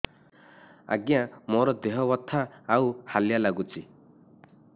ଆଜ୍ଞା ମୋର ଦେହ ବଥା ଆଉ ହାଲିଆ ଲାଗୁଚି